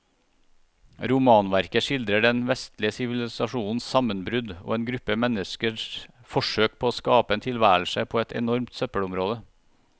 Romanverket skildrer den vestlige sivilisasjons sammenbrudd og en gruppe menneskers forsøk på å skape en tilværelse på et enormt søppelområde.